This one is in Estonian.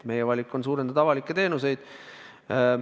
Meie valik on suurendada avalikke teenuseid.